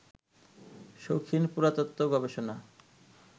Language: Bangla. শৌখিন পুরাতত্ত্ব, গবেষণা